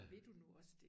Vil du nu også det?